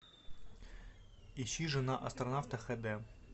ищи жена астронавта хэ дэ